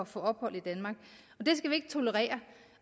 få ophold i danmark og det skal vi ikke tolerere